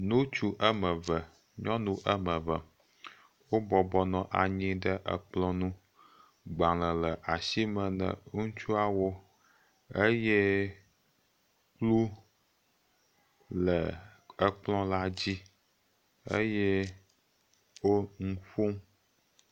Ŋutsu woame eve, nyɔnuu woa ame eve. gbalẽ le asime ne ŋutsua wo eye kplu le exɔ la dzi eo nu ƒom